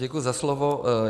Děkuji za slovo.